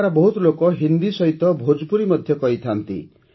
ଏଠାକାର ବହୁତ ଲୋକ ହିନ୍ଦୀ ସହିତ ଭୋଜପୁରୀ ମଧ୍ୟ କହିଥାନ୍ତି